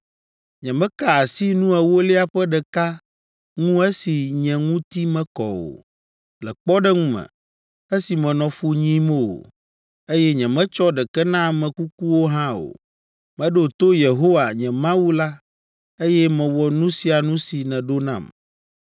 Nyemeka asi nu ewolia ƒe ɖeka ŋu esi nye ŋuti mekɔ o, le kpɔɖeŋu me, esi menɔ fu nyim o, eye nyemetsɔ ɖeke na ame kukuwo hã o. Meɖo to Yehowa, nye Mawu la, eye mewɔ nu sia nu si nèɖo nam.